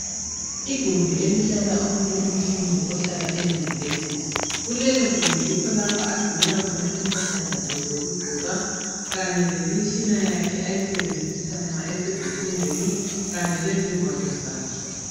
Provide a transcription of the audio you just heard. Igumbi elihlala omunye umfundi ohlala eyunivesithi. Kulelogumbi yikho lapho ogcinela khona impahla zakhe zokugqoka kanye lemitshina yakhe ayisebenzisa nxa esezifundweni, kanye lezingwalo zakhe.